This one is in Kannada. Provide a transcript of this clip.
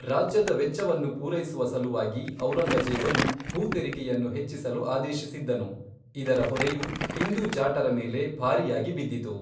ರಾಜ್ಯದ ವೆಚ್ಚವನ್ನು ಪೂರೈಸುವ ಸಲುವಾಗಿ, ಔರಂಗಜೇಬನು ಭೂ ತೆರಿಗೆಯನ್ನು ಹೆಚ್ಚಿಸಲು ಆದೇಶಿಸಿದ್ದನು, ಇದರ ಹೊರೆಯು ಹಿಂದೂ ಜಾಟರ ಮೇಲೆ ಭಾರಿಯಾಗಿ ಬಿದ್ದಿತು.